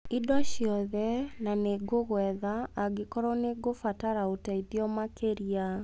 indo ciothe na nĩngũgwetha angĩkorwo nĩ ngũbatara ũteithio makĩria.